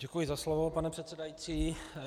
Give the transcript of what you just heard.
Děkuji za slovo, pane předsedající.